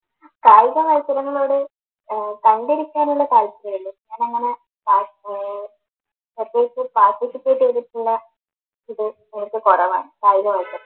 കായിക മത്സരങ്ങളോട് ഏർ പങ്കെടുക്കാനുള്ള താൽപ്പര്യമേ ഉള്ളു ഞാനങ്ങനെ ഏർ പ്രത്യേകിച്ച് participate ചെയ്തിട്ടുള്ള ഇത് നേരത്തെ കുറവാണ്